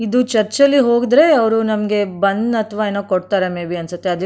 ಇದು ಚರ್ಚ್ ಲ್ಲಿ ಹೋದ್ರೆ ಅವರು ನಮಗೆ ಬನ್ ಅಥವಾ ಏನೋ ಕೊಡ್ತಾರೆ ಮೇ ಬಿ ಅನ್ಸುತ್ತೆ.